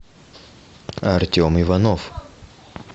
артем иванов